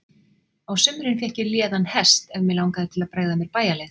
Á sumrin fékk ég léðan hest ef mig langaði til að bregða mér bæjarleið.